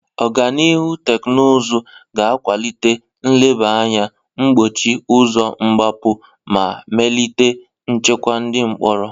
Ọganihu teknụzụ ga akwalite nleba anya, gbochie ụzọ mgbapụ, ma melite nchekwa ndị mkpọrọ.